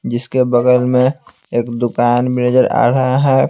जिसके बगल में एक दुकान भी नजर आ रहा है।